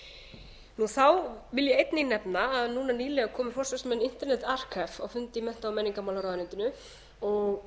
undanþágu þá vil ég einnig nefna að núna nýlega komu forsvarsmenn internet alcans á fund í mennta og menningarmálaráðuneytinu og